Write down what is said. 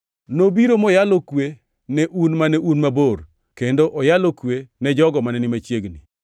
Nobiro moyalo kwe ne un mane un mabor, kendo oyalo kwe ni jogo mane ni machiegni.